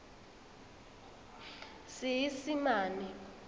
seesimane